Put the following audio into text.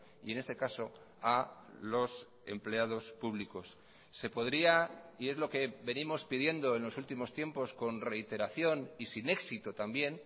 y en este caso a los empleados públicos se podría y es lo que venimos pidiendo en los últimos tiempos con reiteración y sin éxito también